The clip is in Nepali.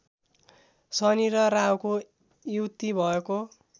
शनि र राहुको युति भएको